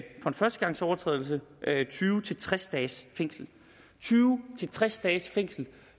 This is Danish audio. førstegangsovertrædelse tyve til tres dages fængsel tyve til tres dages fængsel